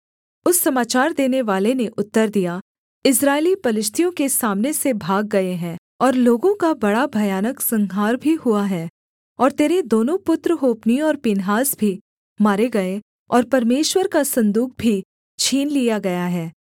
उस समाचार देनेवाले ने उत्तर दिया इस्राएली पलिश्तियों के सामने से भाग गए हैं और लोगों का बड़ा भयानक संहार भी हुआ है और तेरे दोनों पुत्र होप्नी और पीनहास भी मारे गए और परमेश्वर का सन्दूक भी छीन लिया गया है